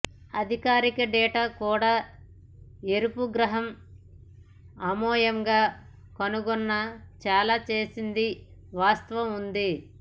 అధికారిక డేటా కూడా ఎరుపు గ్రహం అయోమయంగా కనుగొన్న చాలా చేసింది వాస్తవం ఉంది